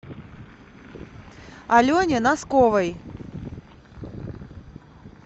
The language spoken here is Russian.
алене носковой